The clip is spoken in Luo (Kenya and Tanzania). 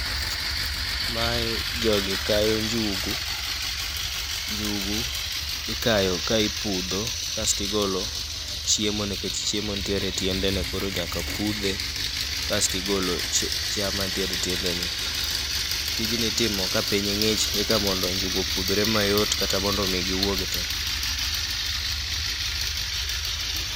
Mae jogi kayo njugu, njugu ikayo ka ipudho. Kasti golo chiemo nikech chiemo nitiere e tiendene, koro nyaka pudhe. Kasti golo chiya ma nitiere e tiende ne. Tijni itimo ka piny ng'ich eka mondo njugu opudhre mayot kata mondo mi giwuog te.